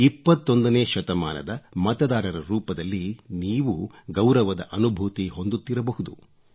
21ನೇ ಶತಮಾನದ ಮತದಾರರ ರೂಪದಲ್ಲಿ ನೀವೂ ಗೌರವದ ಅನುಭೂತಿ ಹೊಂದುತ್ತಿರಬಹುದು